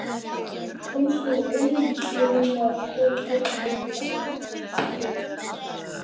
Komst þú einn, ég meina, kom Örn ekki með þér?